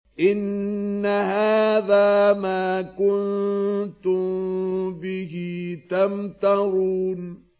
إِنَّ هَٰذَا مَا كُنتُم بِهِ تَمْتَرُونَ